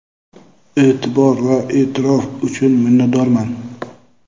Eʼtibor va eʼtirof uchun minnatdorman!.